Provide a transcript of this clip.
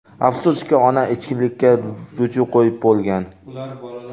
Afsuski, ona ichkilikka ruju qo‘yib bo‘lgan.